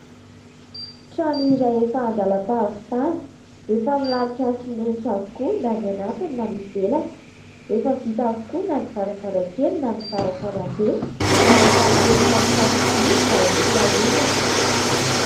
Trano iray efa an-dàlam-pahavitana. Efa milalotra simenitra avokoa na ny anatiny na ny ivelany, efa vita avokoa na ny varavarankely na ny varavarambe, miaraka amin'ireo tsatotsato-by mba ho fiarovana.